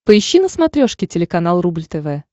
поищи на смотрешке телеканал рубль тв